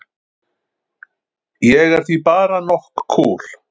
Ég er því bara nokk kúl.